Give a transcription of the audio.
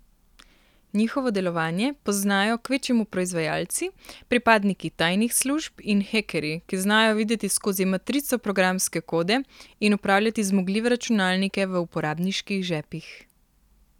Njihovo delovanje poznajo kvečjemu proizvajalci, pripadniki tajnih služb in hekerji, ki znajo videti skozi matrico programske kode in upravljati zmogljive računalnike v uporabniških žepih.